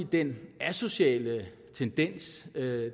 den asociale tendens